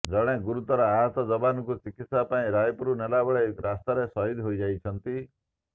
ଜଣେ ଗୁରୁତର ଆହତ ଯବାନଙ୍କୁ ଚିକିତ୍ସା ପାଇଁ ରାୟପୁର ନେବାବେଳେ ରାସ୍ତାରେ ସହିଦ ହୋଇଯାଇଛନ୍ତି